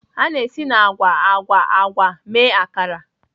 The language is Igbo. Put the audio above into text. A na-esi na agwa agwa agwa mee Akara.